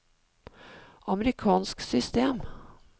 amerikansk system